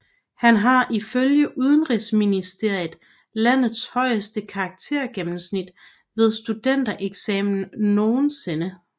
Han har ifølge Undervisningsministeriet landets højeste karaktergennemsnit ved studentereksamen nogensinde